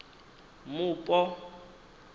mupo